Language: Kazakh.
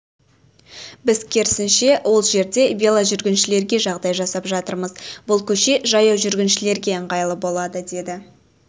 біз керісінше ол жерде веложүргіншілерге жағдай жасап жатырмыз бұл көше жаяу жүргіншілерге ыңғайлы болады деді